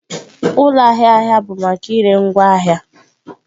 Ụlọ ahịa ahịa bụ maka ire ngwaahịa